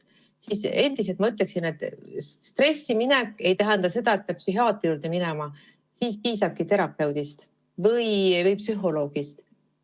Ma endiselt ütlen, et stressiminek ei tähenda seda, et peab psühhiaatri juurde minema, sellisel juhul piisabki terapeudist või psühholoogist.